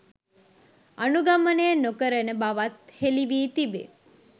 අනුගමනය නොකරන බවත් හෙළිවී තිබේ